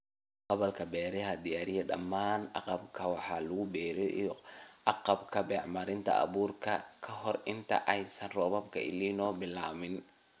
"Qalabka Beeraha Diyaari dhammaan agabka wax lagu beero iyo agabka (bacriminta, abuurka, iwm.) ka hor inta aysan roobabka El Niño bilaabmin."